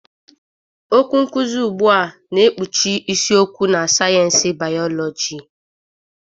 Okwu nkuzi ugbu a na-ekpuchi isiokwu na sayensị bịyọlojị.